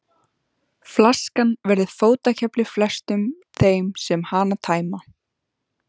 Flaskan verður fótakefli flestum þeim sem hana tæma.